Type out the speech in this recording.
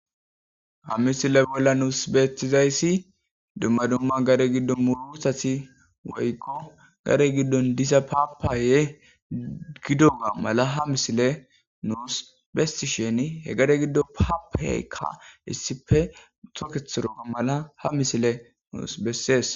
Ha misile bolla nuus beetizayssi dumma dumma gare giddon murowusati woykko gare giddon disa paapaye giddoga mala ha misile nuus bestisheni he gare giddo paapaykka issife utoketho doga mala ha misile nuus bessees.